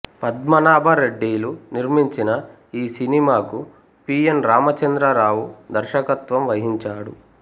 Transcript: పద్మనాభ రెడ్డిలు నిర్మించిన ఈ సినిమాకు పి ఎన్ రామచంద్రరావు దర్శకత్వం వహించాడు